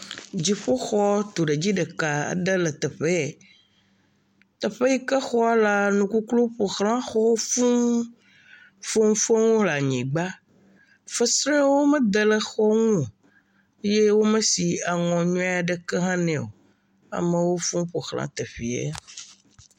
Dziƒoxɔ tuɖedzi ɖeka aɖe le teƒe yɛ. Teƒe yi ke xɔ lea, nukukluiwo ƒo ʋlã xɔwo fũu. Foŋfoŋ le anyigba. Fesreawo mede le xɔwo ŋu o. Ye womesi aŋɔ nyuie aɖeke hã nɛ o. Amewo fɔ̃ ƒo ʋlã teƒea.